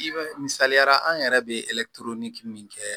I bɛ misaliya an yɛrɛ bɛ min kɛ